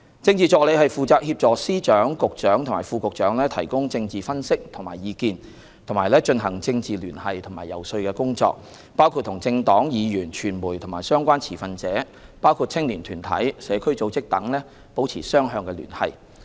政治助理負責協助司長、局長和副局長提供政治分析和意見，以及進行政治聯繫和遊說工作，包括與政黨、議員、傳媒和相關持份者，包括青年團體、社區組織等，保持雙向聯繫。